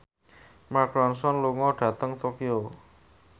Mark Ronson lunga dhateng Tokyo